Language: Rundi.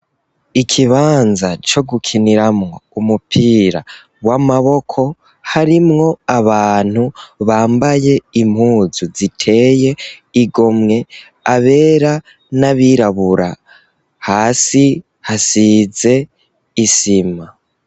Ikibanza co gukiniramwo umupira w'amaboko harimwo abantu bambaye impuzu ziteye igomwe abera n'abirabura hasi hasize isima.